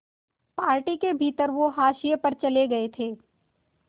party के भीतर वो हाशिए पर चले गए थे